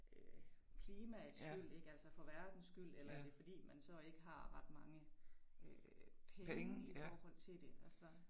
Øh klimaets skyld ik altså for verdens skyld eller er det fordi man så ikke har ret mange øh penge i forhold til det altså